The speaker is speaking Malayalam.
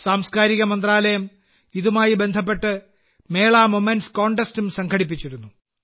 സാംസ്കാരിക മന്ത്രാലയം ഇതുമായി ബന്ധപ്പെട്ട് മേള മൊമെന്റ്സ് കോൺടെസ്റ്റും സംഘടിപ്പിച്ചിരുന്നു